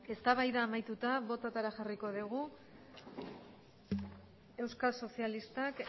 eztabaida amaituta bototara jarriko dugu euskal sozialistak